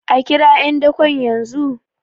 a kirawo `yandakon yanzu?